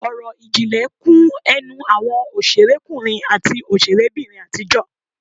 Ọ̀rọ̀ ìjìnlẹ̀ kún ẹnu àwọn òṣèrékùnrin àti òṣèrébìnrin àtijọ́